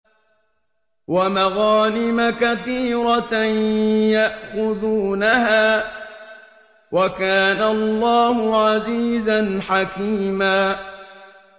وَمَغَانِمَ كَثِيرَةً يَأْخُذُونَهَا ۗ وَكَانَ اللَّهُ عَزِيزًا حَكِيمًا